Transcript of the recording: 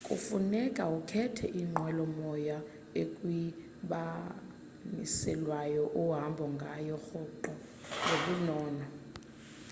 kufuneka ukhethe inqwelo moya ekwindibaniselwano ohamba ngayo rhoqo ngobunono